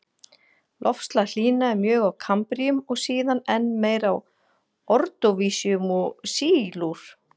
Loftslag hlýnaði mjög á kambríum og síðan enn meir á ordóvísíum og sílúr.